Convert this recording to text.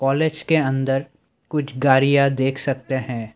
College के अंदर कुछ गाड़ियां देख सकते हैं।